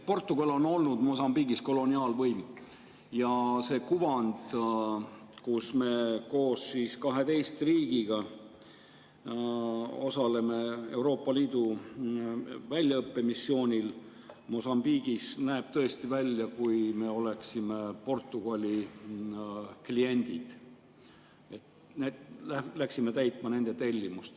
Portugal on olnud Mosambiigis koloniaalvõim ja see kuvand, kus me koos 12 riigiga osaleme Euroopa Liidu väljaõppemissioonil Mosambiigis, näeb tõesti välja nii, nagu me oleksime Portugali kliendid, läksime täitma nende tellimust.